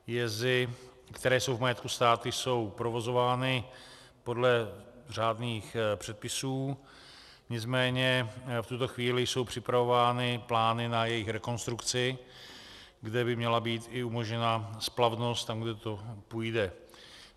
Jezy, které jsou v majetku státu, jsou provozovány podle řádných předpisů, nicméně v tuto chvíli jsou připravovány plány na jejich rekonstrukci, kde by měla být i umožněna splavnost tam, kde to půjde.